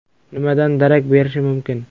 Nimadan darak berishi mumkin?